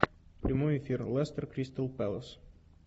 прямой эфир лестер кристал пэлас